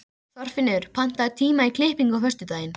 Oktavías, ég kom með sjötíu og eina húfur!